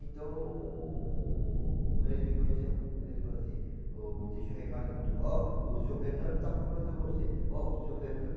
Então, ele me conheceu, ele falou assim, o deixou um recado com a turma, ó, o seu Fernando está procurando você, ó, o seu Fernando.